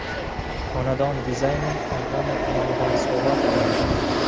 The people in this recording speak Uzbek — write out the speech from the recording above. Xonadon dizayni kompaniya tomonidan sovg‘a qilinadi.